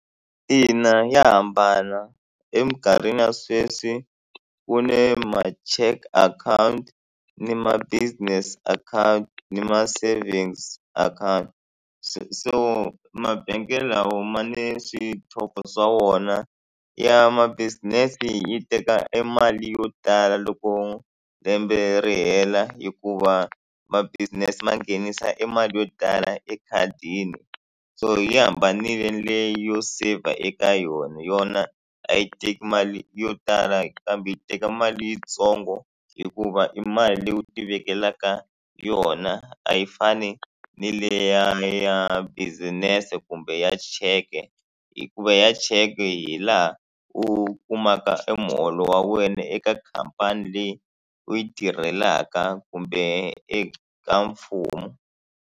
Ina ya hambana emikarhini ya sweswi kune ma-cheque akhawunti ni ma-business account ni ma savings account so mabangi lawa ma ni swa wona ya ma business yi teka e mali yo tala loko lembe ri hela hikuva ma business ma nghenisa emali yo tala ekhadini so hi hambanile le yo saver eka yona yona a yi teki mali yo tala kambe yi teka mali yitsongo hikuva i mali leyi u tivekelaka yona a yi fani ni leya ya business kumbe ya cheque hikuva ya cheque hi laha u kumaka emuholo wa wena eka khampani leyi u yi tirhelaka kumbe eka mfumo.